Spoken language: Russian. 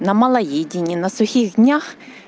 на малоедении на сухих днях